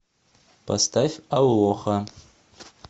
поставь алоха